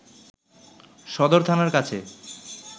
সদর থানার কাছে